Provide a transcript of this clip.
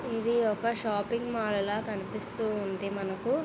ఇది ఒక shopping mall లా కనిపిస్తు ఉంది మనకు.